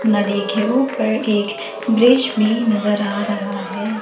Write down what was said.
नदी के ऊपर एक ब्रिज भी नजर आ रहा है।